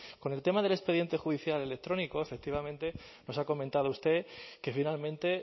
con el tema del expediente judicial electrónico efectivamente nos ha comentado usted que finalmente